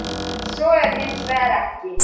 Svo er hins vegar ekki.